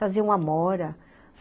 Traziam amora.